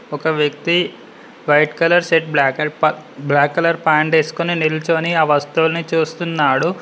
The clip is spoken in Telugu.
ఒక వ్యక్తి white colour shirt black black colour pant వెస్కొని నిల్చొని ఆ వస్తువుల్ని చుస్తున్నాడు.